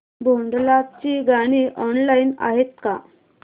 भोंडला ची गाणी ऑनलाइन आहेत का